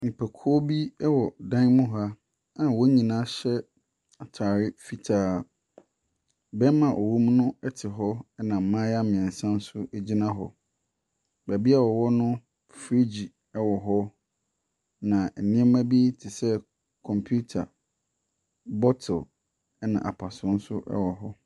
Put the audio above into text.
Nnipakuo bi wɔ dan mu hɔ a wɔn nyinaa hyɛ atare fitaa. Barima a ɔwɔ mu no te hɔ na mmayewa mmeɛnsa nso gyina hɔ. Baabi a wɔwɔ no, freegye wɔ hɔ, na nneɛma bi te sɛ kɔmputa, bottle ɛnna apasoɔ nso wɔ hɔ.